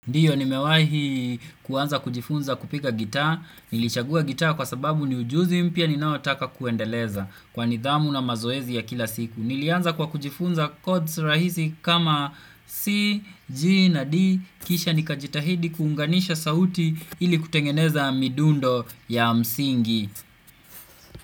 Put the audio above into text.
Ndio nimewahi kuanza kujifunza kupika gitaa, nilichagua gitaa kwa sababu ni ujuzi mpya ninaotaka kuendeleza kwa nidhamu na mazoezi ya kila siku. Nilianza kwa kujifunza chords rahisi kama C, G na D, kisha ni kajitahidi kuunganisha sauti ili kutengeneza midundo ya msingi.